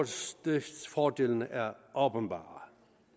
stordriftsfordelene er åbenbare